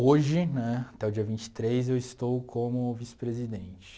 Hoje, né, até o dia vinte e três, eu estou como vice-presidente.